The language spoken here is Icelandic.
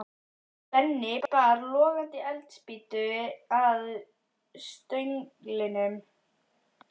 Benni bar logandi eldspýtu að stönglinum.